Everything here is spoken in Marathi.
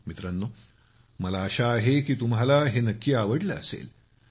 मित्रांनो मला आशा आहे की तुम्हाला हे नक्की आवडले असेल